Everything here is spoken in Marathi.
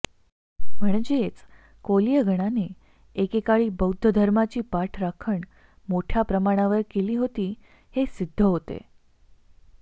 म्हणजेच कोलीय गणाने एके काळी बौद्ध धर्माची पाठराखण मोठय़ा प्रमाणावर केली होती हे सिद्ध होते